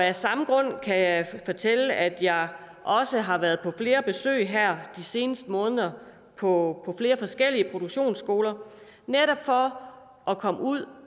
af samme grund kan jeg fortælle at jeg også har været på flere besøg her de seneste måneder på flere forskellige produktionsskoler for at komme ud